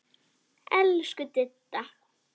Elsku Didda.